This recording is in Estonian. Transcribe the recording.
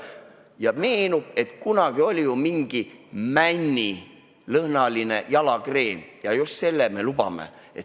" Ja neile meenub, et kunagi oli mingi männilõhnaline jalakreem, just selle me lubame.